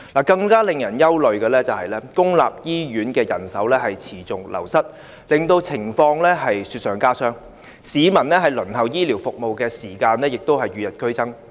更令人憂慮的是，公營醫院的人手持續流失，令情況雪上加霜，市民輪候醫療服務的時間與日俱增。